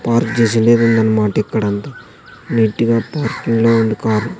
Park చేసిండేదుందన్మాట ఇక్కడంతా నీటిగా పార్కింగ్ లో ఉంది కారు .